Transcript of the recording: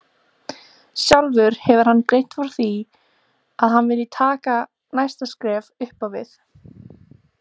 Sjálfur hefur hann greint frá því að hann vilji taka næsta skref upp á við.